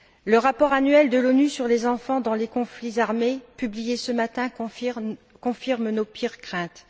Le rapport annuel de l'ONU sur les enfants dans les conflits armés publié ce matin confirme nos pires craintes.